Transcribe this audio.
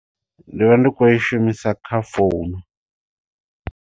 Ndi vha ndi khou i shumisa kha founu.